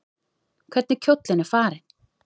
Hvernig kjóllinn er farinn!